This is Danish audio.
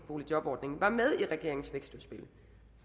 boligjobordningen var med i regeringens vækstudspil